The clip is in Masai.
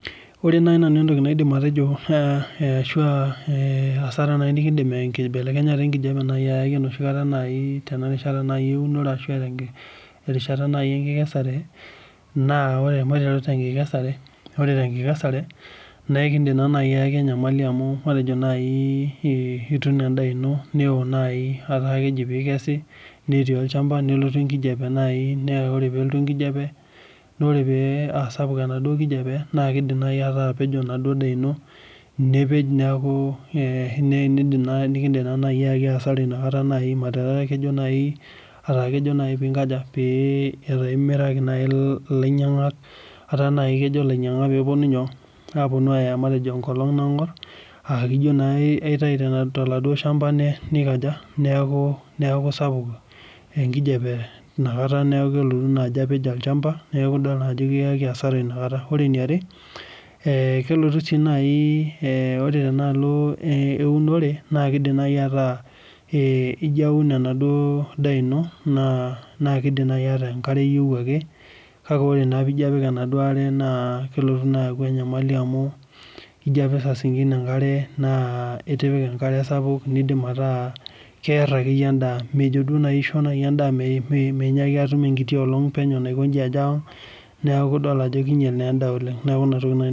Wore naaji nanu entoki naidim atejo asara nikindim enkibelekenyata enkijape tenoshi kata naaji eeunore arashu enkikesera naa maiteru te enkikasare naa naa ekindim naaji ayaki enyamali amu matejo naaji ituuno endaana ino newoo naaji etaa keji peekesi nelotu enkijape naaji wore paa asapuk enaduo kijape naa ekindiim naaji ayaki asara etaa naaji imiraki ilainyangak etaa naaji kejo ilainyiangak peeponu aaaya matejo enkolong naangorr neijoo aitayu tolchamba neeku sapuk enkijape nelotu apej olchamba nikiyaki assara kelotu si naiore temaalo eunore nakidim anai ataa ijo aun enaduo daa ino nakidimayu ataa enkare eyieu ake kake ore pijo apik enaduo aare kelotu aku enyamali amu ijo apik saa singine itipika enkare sapuk keer ake yie endaa mejo aishoo endaa ejo atum enkiti olong akeyie neaku idol ajo kinyel endaa oleng neaku ina toki